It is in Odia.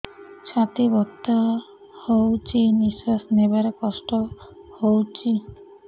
ଛାତି ବଥା ହଉଚି ନିଶ୍ୱାସ ନେବାରେ କଷ୍ଟ ହଉଚି